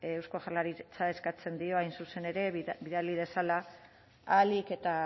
eusko jaurlaritzari eskatzen dio hain zuzen ere bidali dezala ahalik eta